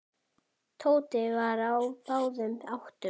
Tóti var á báðum áttum.